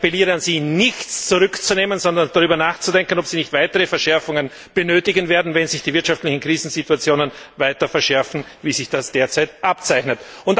Und ich appelliere an sie, nichts zurückzunehmen, sondern darüber nachzudenken, ob sie nicht weitere Verschärfungen benötigen werden, wenn sich die wirtschaftlichen Krisensituationen weiter verschärfen, wie sich das derzeit abzeichnet.